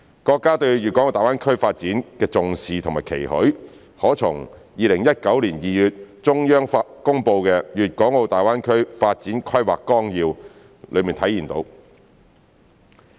國家對大灣區發展的重視和期許，可從2019年2月中央公布的《粵港澳大灣區發展規劃綱要》中體現。